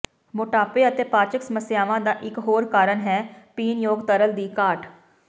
ਮੋਟਾਪੇ ਅਤੇ ਪਾਚਕ ਸਮੱਸਿਆਵਾਂ ਦਾ ਇਕ ਹੋਰ ਕਾਰਨ ਹੈ ਪੀਣਯੋਗ ਤਰਲ ਦੀ ਘਾਟ